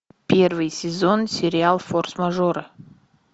первый сезон сериал форс мажоры